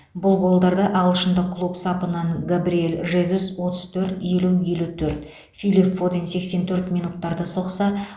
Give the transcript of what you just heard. бұл голдарды ағылшындық клуб сапынан габриэл жезус отыз төрт елу елу төрт филип фоден сексен төрт минуттарда соқса